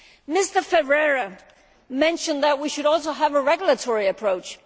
Mr Ferreira mentioned that we should also have a regulatory approach.